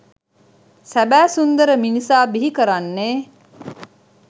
සැබෑ සුන්දර මිනිසා බිහි කරන්නේ